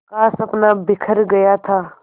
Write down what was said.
का सपना बिखर गया था